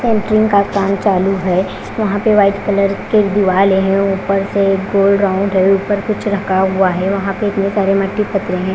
Painting का काम चालू है। वहां पे वाइट कलर के दिवाले है। ऊपर से गोल राउंड है। ऊपर कुछ रखा हुआ है। वहां पे इतने सारे मट्टी करते हैं।